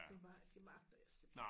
Tænker bare det magter jeg simpelthen